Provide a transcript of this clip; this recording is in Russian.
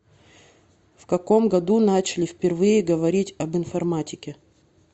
в каком году начали впервые говорить об информатике